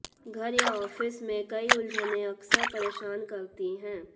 घर या ऑफिस में कई उलझनें अक्सर परेशान करती हैं